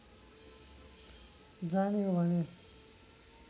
जाने हो भने